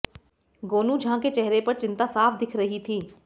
गोनू झा के चेहरे पर चिंता साफ़ दिख रही थी